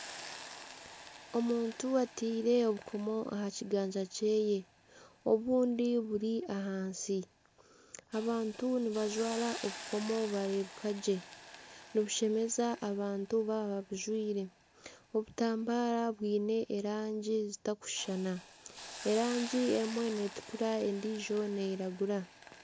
Omuntu ataire obukomu aha kiganja kye. Obundi buri ahansi. Abantu nibajwara obukomo bareebeka gye. Nibushemeza abantu baaba babujwaire. Obutambaara bwine erangi zitarikushushana. Erangi emwe netukura endijo neiragura.